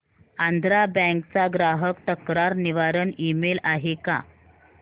Andhra bank चा ग्राहक तक्रार निवारण ईमेल आहे का